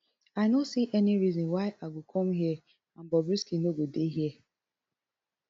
i no see any reason why i go come here and bobrisky no go dey here